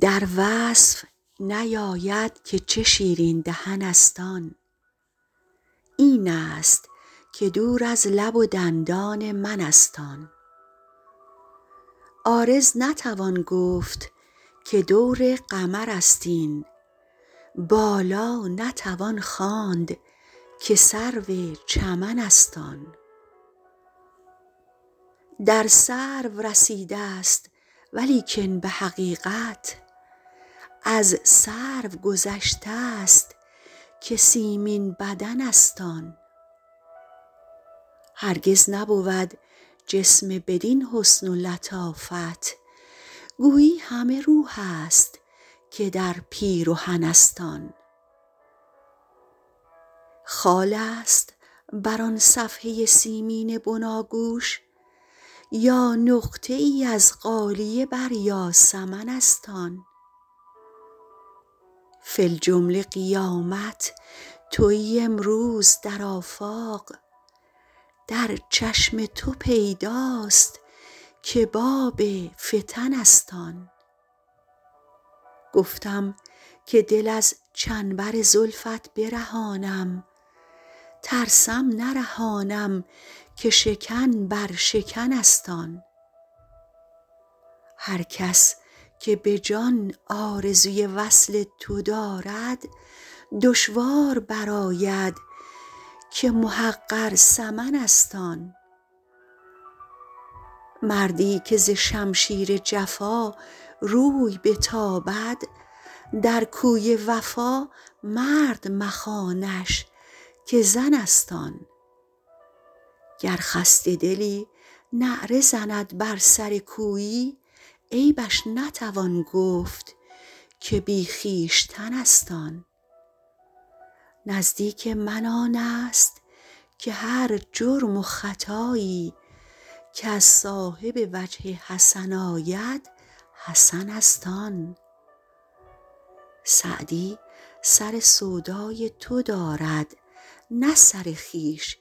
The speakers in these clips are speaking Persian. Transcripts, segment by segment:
در وصف نیاید که چه شیرین دهن است آن این است که دور از لب و دندان من است آن عارض نتوان گفت که دور قمر است این بالا نتوان خواند که سرو چمن است آن در سرو رسیده ست ولیکن به حقیقت از سرو گذشته ست که سیمین بدن است آن هرگز نبود جسم بدین حسن و لطافت گویی همه روح است که در پیرهن است آن خال است بر آن صفحه سیمین بناگوش یا نقطه ای از غالیه بر یاسمن است آن فی الجمله قیامت تویی امروز در آفاق در چشم تو پیداست که باب فتن است آن گفتم که دل از چنبر زلفت برهانم ترسم نرهانم که شکن بر شکن است آن هر کس که به جان آرزوی وصل تو دارد دشوار برآید که محقر ثمن است آن مردی که ز شمشیر جفا روی بتابد در کوی وفا مرد مخوانش که زن است آن گر خسته دلی نعره زند بر سر کویی عیبش نتوان گفت که بی خویشتن است آن نزدیک من آن است که هر جرم و خطایی کز صاحب وجه حسن آید حسن است آن سعدی سر سودای تو دارد نه سر خویش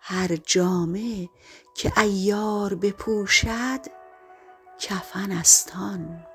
هر جامه که عیار بپوشد کفن است آن